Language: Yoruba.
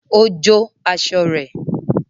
Ó jó aṣọ rẹ̀